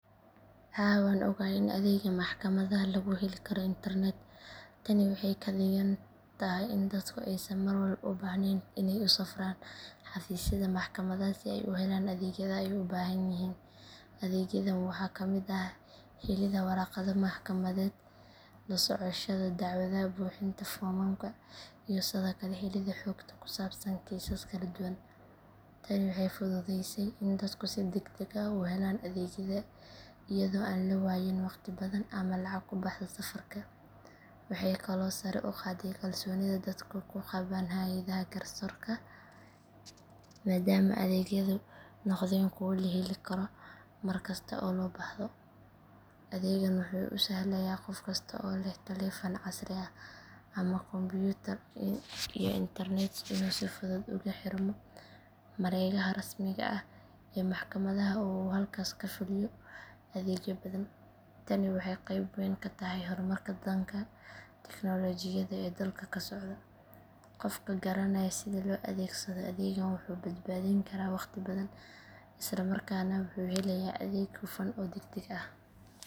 Haa waan ogahay in adeega maxkamadaha lagu heli karo internet. Tani waxay ka dhigan tahay in dadku aysan marwalba u baahnayn inay u safraan xafiisyada maxkamadaha si ay u helaan adeegyada ay u baahan yihiin. Adeegyadan waxaa ka mid ah helidda warqado maxkamadeed, la socoshada dacwadaha, buuxinta foomamka iyo sidoo kale helidda xogta ku saabsan kiisas kala duwan. Tani waxay fududaysay in dadku si degdeg ah u helaan adeegyada iyadoo aan la waayin waqti badan ama lacag ku baxda safarka. Waxay kaloo sare u qaaday kalsoonida dadku ku qabaan hay’adaha garsoorka maadaama adeegyadu noqdeen kuwo la heli karo mar kasta oo loo baahdo. Adeegan wuxuu u sahlayaa qof kasta oo leh taleefan casri ah ama kombiyuutar iyo internet inuu si fudud ugu xirmo mareegaha rasmiga ah ee maxkamadaha oo uu halkaas ka fuliyo adeegyo badan. Tani waxay qeyb weyn ka tahay hormarka dhanka tiknoolajiyadda ee dalka ka socda. Qofka garanaya sida loo adeegsado adeegan wuxuu badbaadin karaa waqti badan isla markaana wuxuu helayaa adeeg hufan oo degdeg ah.